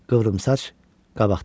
Qıvrımsaç qabaqda idi.